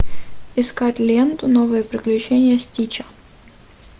искать ленту новые приключения стича